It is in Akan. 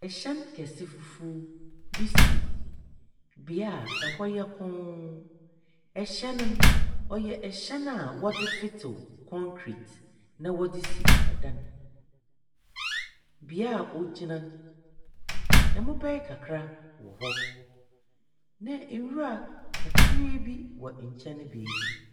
Ɛhyɛn kɛse fufuo bi si bea ɛhɔ yɛ koon. Ɛhyɛn no wɔyɛ ɛhyɛn a wɔdze fetew kɔnkret na wɔdze si ɛdan. Bea a wɔgyina no ɛmobaɛ kakra wɔhɔ na ewura kakraa bi wɔ nkyɛn baabi.